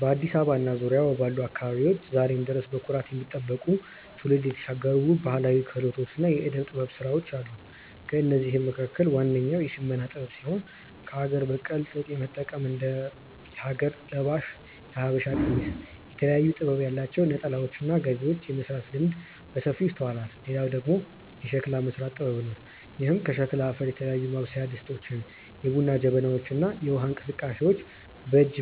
በአዲስ አበባ እና በዙሪያዋ ባሉ አካባቢዎች ዛሬም ድረስ በኩራት የሚጠበቁ፣ ትውልድ የተሻገሩ ውብ ባህላዊ ክህሎቶችና የዕደ-ጥበብ ሥራዎች አሉ። ከእነዚህም መካከል ዋነኛው የሽመና ጥበብ ሲሆን፣ ከአገር በቀል ጥጥ በመጠቀም እንደ ሀገር ለባሽ (የሀበሻ ቀሚስ)፣ የተለያየ ጥበብ ያላቸው ነጠላዎችና ጋቢዎችን የመሥራት ልምድ በሰፊው ይስተዋላል። ሌላው ደግሞ የሸክላ መሥራት ጥበብ ነው፤ ይህም ከሸክላ አፈር የተለያዩ ማብሰያ ድስቶችን፣ የቡና ጀበናዎችን እና የውሃ እንስራዎችን በእጅ